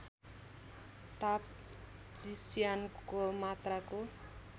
ताप चिस्यानको मात्राको